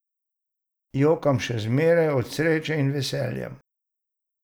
Jokam še zmeraj, od sreče in veselja.